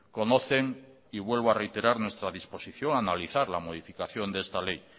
conocen y vuelvo a reiterar nuestra disposición a analizar la modificación de esta ley